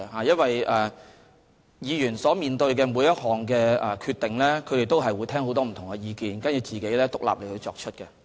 議員面對每項決定時，他們都會聽取很多不同意見，然後再獨立作出決定。